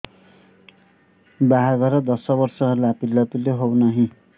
ବାହାଘର ଦଶ ବର୍ଷ ହେଲା ପିଲାପିଲି ହଉନାହି